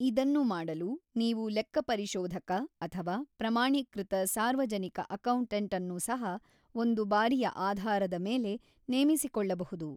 ಇದನ್ನು ಮಾಡಲು ನೀವು ಲೆಕ್ಕಪರಿಶೋಧಕ ಅಥವಾ ಪ್ರಮಾಣೀಕೃತ ಸಾರ್ವಜನಿಕ ಅಕೌಂಟೆಂಟ್ ಅನ್ನು ಸಹ ಒಂದು-ಬಾರಿಯ ಆಧಾರದ ಮೇಲೆ ನೇಮಿಸಿಕೊಳ್ಳಬಹುದು.